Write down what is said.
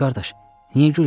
Pişik qardaş, niyə gülürsən?